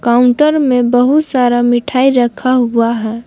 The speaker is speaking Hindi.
काउंटर में बहुत सारा मिठाई रखा हुआ है।